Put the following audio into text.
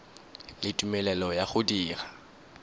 le tumelelo ya go dira